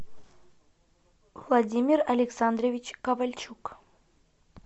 владимир александрович кавальчук